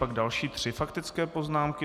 Pak další tři faktické poznámky.